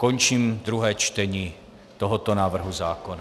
Končím druhé čtení tohoto návrhu zákona.